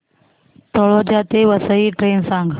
तळोजा ते वसई ट्रेन सांग